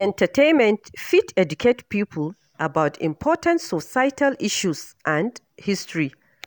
Entertainment fit educate people about important social issues and history.